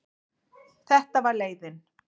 Þetta var leiðin.